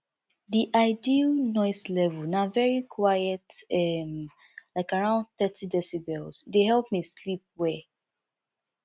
di ideal noise level na very quiet um like around thirty decibels e dey help me sleep well